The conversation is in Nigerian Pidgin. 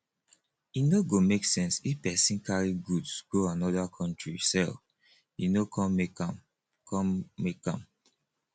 e no go make sense if pesin carry goods go anoda country sell e no come make am come make am